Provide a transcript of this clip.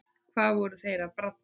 Hvað voru þeir að bralla?